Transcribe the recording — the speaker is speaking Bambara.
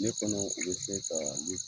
Ne fɛnɛ be se ka ye